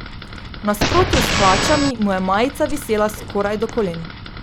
V nasprotju s hlačami mu je majica visela skoraj do kolen.